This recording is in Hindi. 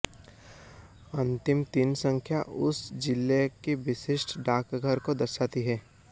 अंतिम तीन संख्या उस जिले के विशिष्ट डाकघर को दर्शाती है